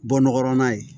Bɔ nɔgɔ lan ye